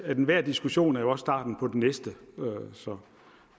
enhver diskussion jo starten på den næste så